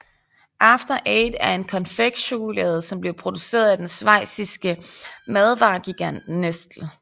After Eight er en konfektchokolade som bliver produceret af den schweiziske madvaregigant Nestlé